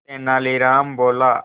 तेनालीराम बोला